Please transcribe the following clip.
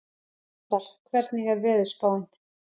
Ásar, hvernig er veðurspáin?